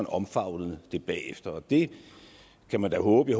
omfavnet det bagefter det kan man da håbe